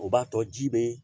O b'a tɔ ji bɛ